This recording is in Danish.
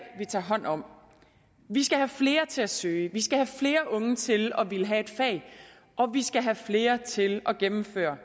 vi tage hånd om vi skal have flere til at søge vi skal have flere unge til at ville have et fag og vi skal have flere til at gennemføre